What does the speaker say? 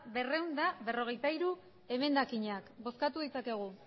berrehun eta berrogeita hiru emendakinak bozkatu ditzakegu